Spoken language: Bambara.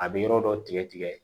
A bɛ yɔrɔ dɔ tigɛ